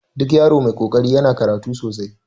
Duk yaro mai kokari yana karatu sosai